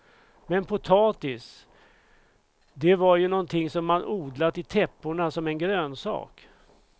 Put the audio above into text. Men potatis, det var ju någonting som man odlat i täpporna som en grönsak.